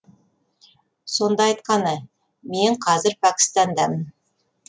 сонда айтқаны мен қазір пәкістандамын